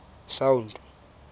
sound